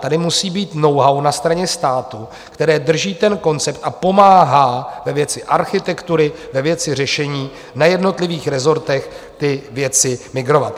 Tady musí být know-how na straně státu, které drží koncept a pomáhá ve věci architektury, ve věci řešení na jednotlivých rezortech ty věci migrovat.